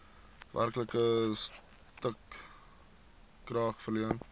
werklike stukrag verleen